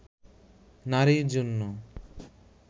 নারীর জন্য